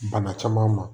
Bana caman ma